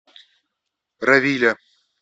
равиля